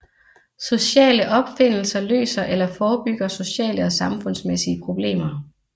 Sociale opfindelser løser eller forebygger sociale og samfundsmæssige problemer